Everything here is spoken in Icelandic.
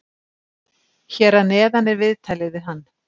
Hér að neðan er viðtalið við hann.